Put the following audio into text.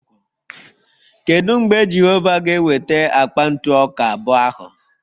Kedu mgbe Jehova ga-eweta akpa ntụ ọka abụọ ahụ?